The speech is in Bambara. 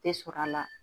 Tɛ sɔrɔ a la